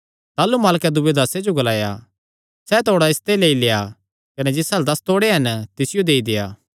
ताह़लू मालकैं दूये दासां जो ग्लाया सैह़ तोड़ा इसते लेई लेआ कने जिस अल्ल दस तोड़े हन तिसियो देई देआ